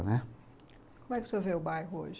né? Como é que o senhor vê o bairro hoje?